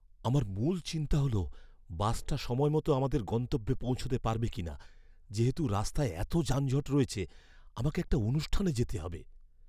আমার মূল চিন্তা হল বাসটা সময়মত আমাদের গন্তব্যে পৌঁছাতে পারবে কিনা যেহেতু রাস্তায় এতো যানজট রয়েছে। আমাকে একটা অনুষ্ঠানে যেতে হবে।